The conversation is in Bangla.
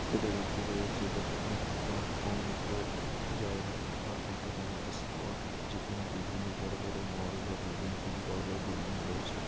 এটা দেখতে পেরেছি এটা কোনো একটা অন জায়গা বা ওটা কোনো একটা স্পট যেখানে বিভিন্ন বড়ো বড়ো মল বা বিভিন্ন বিধি বড়ো বড়ো বিল্ডিং রয়েছে।